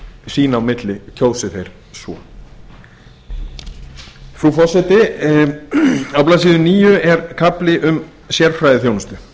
sín á milli kjósi þeir svo xxxfrú forseti á blaðsíðu níu er kafli um sérfræðiþjónustu